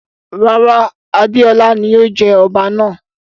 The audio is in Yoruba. Rara, Adeola ni yóò jẹ ọba náa